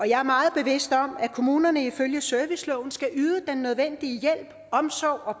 jeg er meget bevidst om at kommunerne ifølge serviceloven skal yde den nødvendige hjælp omsorg og